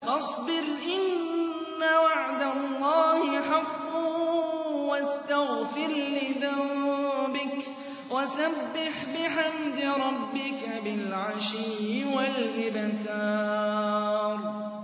فَاصْبِرْ إِنَّ وَعْدَ اللَّهِ حَقٌّ وَاسْتَغْفِرْ لِذَنبِكَ وَسَبِّحْ بِحَمْدِ رَبِّكَ بِالْعَشِيِّ وَالْإِبْكَارِ